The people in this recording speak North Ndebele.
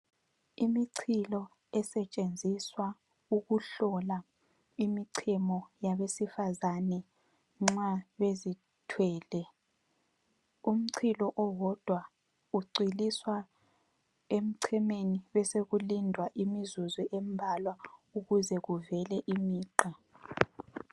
Imichilo esetshenziswa ukuhlola imichemo yabesifazane nxa bezithwele. Umchilo owodwa ucwiliswa emchemeni besekulindwa imizuzu embalwa ukuze kubele imigqa.